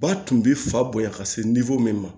Ba tun bɛ fa bonya ka se ma